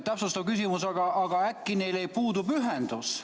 Täpsustav küsimus: aga äkki neil puudub ühendus?